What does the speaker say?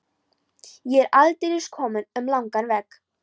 Ég er aldeilis kominn um langan veg.